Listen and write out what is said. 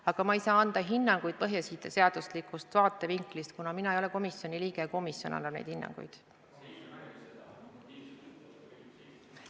Aga ma ei saa anda hinnanguid põhiseaduslikkuse vaatevinklist, kuna mina ei ole komisjoni liige ja komisjon annab neid hinnanguid.